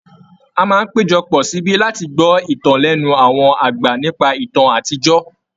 A máa n hpéjọ pọ̀ síbí láti gbọ́ ìtàn lẹ́nu àwọn àgbà nípa ìtàn àtijọ́.